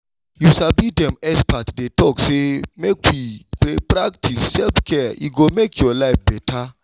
you sabi dem experts dey talk say make we dey practice self-care e go make your life beta